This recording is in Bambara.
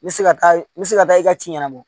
N bɛ se ka taa n bɛ se ka taa i ka ci ɲɛnabɔ